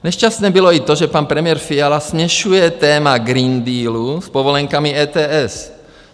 Nešťastné bylo i to, že pan premiér Fiala směšuje téma Green Dealu s povolenkami ETS.